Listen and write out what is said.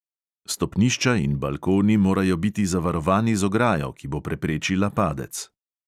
Stopnišča in balkoni morajo biti zavarovani z ograjo, ki bo preprečila padec.